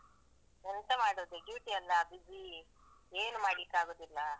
ಎಂತ ಮಾಡುದು duty ಅಲ್ಲಾ busy , ಏನು ಮಾಡ್ಲಿಕ್ಕಾಗುದಿಲ್ಲಾ.